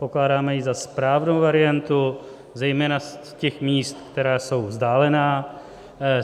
Pokládáme ji za správnou variantu zejména z těch míst, která jsou vzdálená.